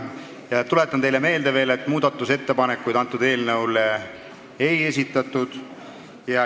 Tuletan teile veel meelde, et muudatusettepanekuid eelnõu kohta ei esitatud.